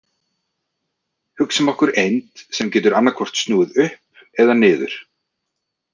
Hugsum okkur eind sem getur annaðhvort snúið upp eða niður.